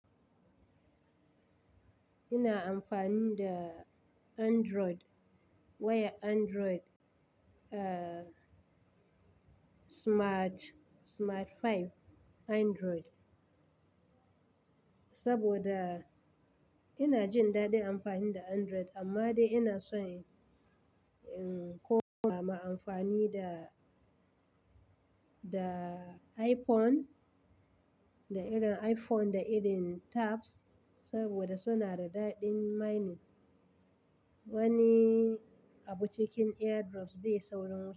Ina amfani da Android, wayar Android, ah, Smart, Smart 5 Android. Saboda ina jin daɗin amfani da Android amma dai ina son in koma ma amfani da, da iPhone, da irin iPhone da irin tabs saboda suna da daɗin mining. Wani abu cikin AirDrop bai saurin.